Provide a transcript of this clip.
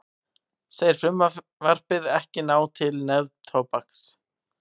Segir frumvarpið ekki ná til neftóbaks